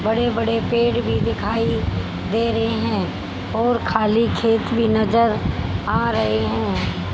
बड़े बड़े पेड़ भी दिखाई दे रहे हैं और खाली खेत भी नजर आ रहे हैं।